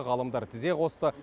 ғалымдар тізе қосты